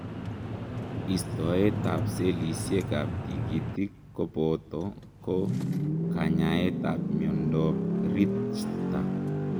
Istoet ap selisek ap tigitik kopotoo ko kanyaet ap miondoop Richter